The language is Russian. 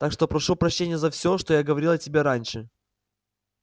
так что прошу прощения за всё что я говорил о тебе раньше